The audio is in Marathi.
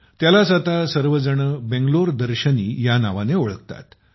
त्यालाच आता सर्वजण बंगलोर दर्शनी या नावाने ओळखतात